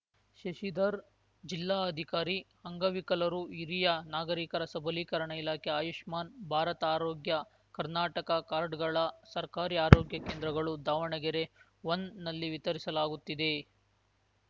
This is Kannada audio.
ಶಶಿಧರ್‌ ಜಿಲ್ಲಾ ಅಧಿಕಾರಿ ಅಂಗವಿಕಲರುಹಿರಿಯ ನಾಗರಿಕರ ಸಬಲೀಕರಣ ಇಲಾಖೆ ಆಯುಷ್ಮಾನ್‌ ಭಾರತಆರೋಗ್ಯ ಕರ್ನಾಟಕ ಕಾಡ್‌ರ್‍ಗಳನ್ನು ಸರ್ಕಾರಿ ಆರೋಗ್ಯ ಕೇಂದ್ರಗಳು ದಾವಣಗೆರೆ ಒನ್‌ನಲ್ಲಿ ವಿತರಿಸಲಾಗುತ್ತಿದೆ